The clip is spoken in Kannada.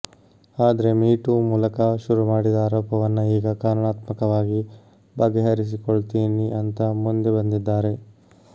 ಆದ್ರೆ ಮೀಟು ಮೂಲಕ ಶುರುಮಾಡಿದ ಆರೋಪವನ್ನ ಈಗ ಕಾನೂನಾತ್ಮಕವಾಗಿ ಬಗೆಹರಿಸಿಕೊಳ್ತೀನಿ ಅಂತ ಮುಂದೆ ಬಂದಿದ್ದಾರೆ